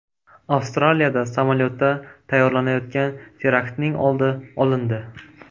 Avstraliyada samolyotda tayyorlanayotgan teraktning oldi olindi.